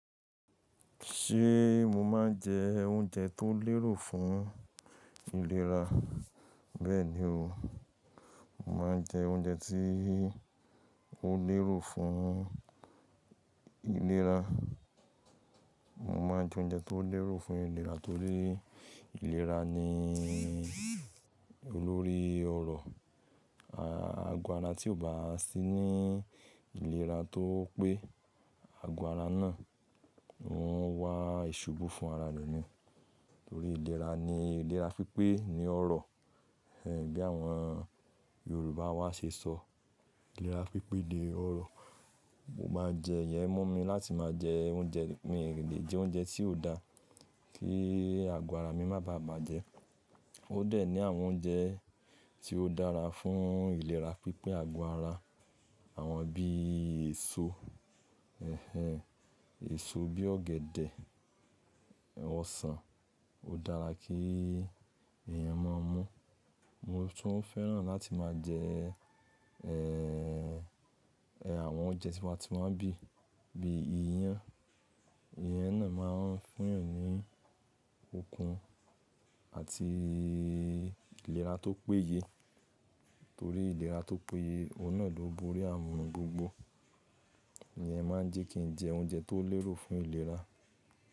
Ṣé mo máa ń jẹ oúnjẹ tó lérò fún ìlera? Bẹ́ẹ̀ni o, mo máa ń jẹ oúnjẹ tí ó lérò fún ìlera. Mo máa ń jẹ oúnjẹ tó lérò fún ìlera torí ìlera ni olórí ọrọ̀. Agọ́ ara tí ò bá sí ní ìlera tó pé, àgọ́ ara náà ń wá ìṣubú fún ara nii. Torí ìlera, ni ìlera pípé, ni ọrọ̀. Bí àwọn Yorùbá wá ṣe sọ, ìlera pípé ni ọrọ̀. Mo máa jẹ, iyẹn mu mi láti máa jẹ oúnjẹ, mi lè jẹ oúnjẹ tí ò dá, kí àgọ́ ara mi má bà bàjẹ́. Ó dẹ̀ ní àwọn oúnjẹ tí ó dára fún ìlera pípé àgọ́ ara. Àwọn bí èso, ẹ̀hẹ̀n, èso bí ọ̀gẹ̀dẹ̀, ẹ̀wọ̀n sàn, ó dára kí èèyàn máa mu Mo tún fẹ́ràn láti máa jẹ, àwọn oúnjẹ tí mo ti máa ń bìi, bí iyán. Iyen náà máa ń fún èèyàn ní okun àti ìlera tó péye. Torí ìlera tó péye, òhun náà ló borí àrun n gbogbo. Iyẹn máa ń jẹ́ kí n jẹ oúnjẹ tó lérò fún ìlera.